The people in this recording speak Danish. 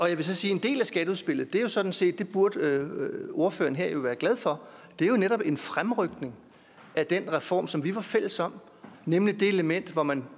jeg vil så sige at en del af skatteudspillet jo sådan set det burde ordføreren her jo være glad for en fremrykning af den reform som vi var fælles om nemlig det element hvor man